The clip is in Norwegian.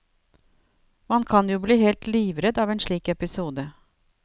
Man kan jo bli helt livredd av en slik episode.